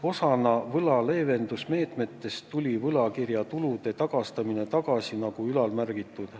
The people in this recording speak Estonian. Osana võla leevendamise meetmetest hakati uuesti võlakirjatulusid tagastama, nagu juba märgitud.